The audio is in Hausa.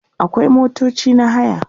akwai motoci na haya